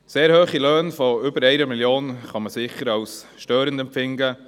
Sehr hohe Löhne von über 1 Mio. Franken kann man sicher als störend empfinden.